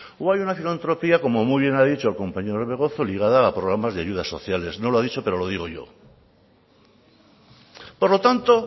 o hay una filantropía como muy bien ha dicho el compañero orbegozo ligada a programas de ayudas sociales no lo ha dicho pero lo digo yo por lo tanto